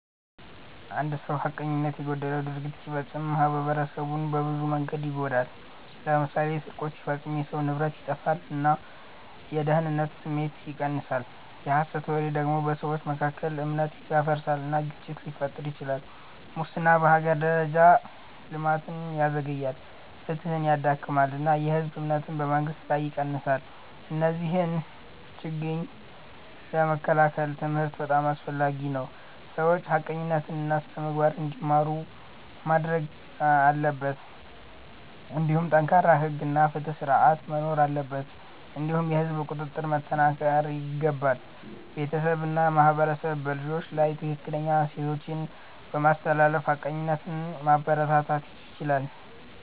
አንድ ሰው ሐቀኝነት የጎደለው ድርጊት ሲፈጽም ማኅበረሰቡን በብዙ መንገዶች ይጎዳል። ለምሳሌ ስርቆት ሲፈጸም የሰዎች ንብረት ይጠፋል እና የደህንነት ስሜት ይቀንሳል። የሐሰት ወሬ ደግሞ በሰዎች መካከል እምነት ያፈርሳል እና ግጭት ሊፈጥር ይችላል። ሙስና በሀገር ደረጃ ልማትን ያዘግያል፣ ፍትሕን ያዳክማል እና የህዝብ እምነትን በመንግስት ላይ ይቀንሳል። እነዚህን ችግኝ ለመከላከል ትምህርት በጣም አስፈላጊ ነው፤ ሰዎች ሐቀኝነትን እና ስነ-ምግባርን እንዲማሩ ማድረግ አለበት። እንዲሁም ጠንካራ ሕግ እና ፍትሕ ስርዓት መኖር አለበት እንዲሁም የህዝብ ቁጥጥር መጠናከር ይገባል። ቤተሰብ እና ማህበረሰብ በልጆች ላይ ትክክለኛ እሴቶችን በማስተላለፍ ሐቀኝነትን ማበረታታት ይችላሉ።